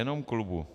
Jenom klubu.